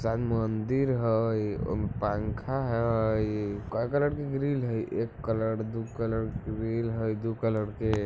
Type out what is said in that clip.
शायद मंदिर हई ओय में पंख हई काय कलर के ग्रिल हई एक कलर दू कलर ग्रिल हई दू कलर के।